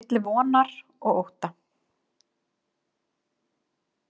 Milli vonar og ótta.